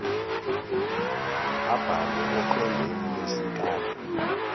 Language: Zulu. abhale oqwembeni lwesikali